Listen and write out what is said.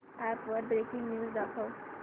app वर breaking news दाखव